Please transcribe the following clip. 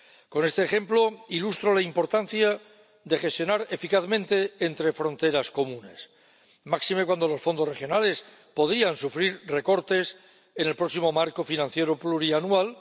Con este ejemplo ilustro la importancia de gestionar eficazmente entre fronteras comunes, máxime cuando los fondos regionales podrían sufrir recortes en el próximo marco financiero plurianual.